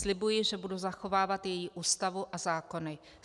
Slibuji, že budu zachovávat její Ústavu a zákony.